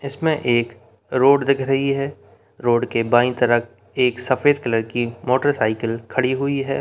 इसमें एक रोड दिख रही है रोड के बाई तरफ एक सफ़ेद कलर की मोटर साइकिल खड़ी हुई है।